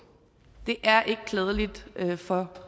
det er ikke klædeligt for